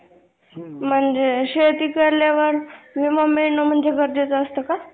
प्रत्येक मनुष्याने पाण्याचा काटकसरीने वापर गरजेचे आहे. पाण्याला उगीच व्यर्थ जाऊ देऊ नये. त्यासाठी त्याचा उपयोग आवश्यक तेथे व्यवस्थित